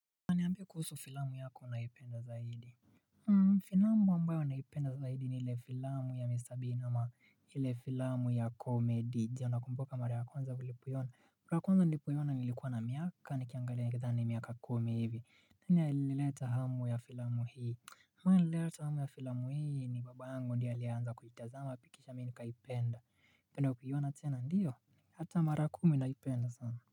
Na niambie kuhusu filamu yako unayoipenda zaidi Filamu ambayo naipenda zaidi ni ile filamu ya Mr Beaniama ile filamu ya komedi ndio nakumbuka mara kwanza nilipoina mara kwanza nilipoina nilikuwa na miaka nikiangalia nikidhani ni miaka kumi hivi nani alileta hamu ya filamu hii nani alileta hamu ya filamu hii ni baba angu ndio alianza kuitazama kisha mimi nikaipenda unapenda kuiona tena? Ndiyo Hata mara kumi naipenda sana.